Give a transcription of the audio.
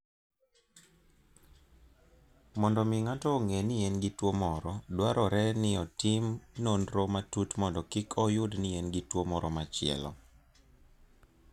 Mondo omi ng'ato ong'e ni en gi tuwo moro, dwarore ni otimne nonro matut mondo kik oyud ni en gi tuo moro machielo.